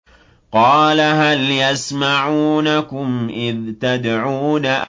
قَالَ هَلْ يَسْمَعُونَكُمْ إِذْ تَدْعُونَ